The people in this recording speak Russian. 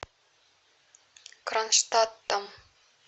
кронштадтом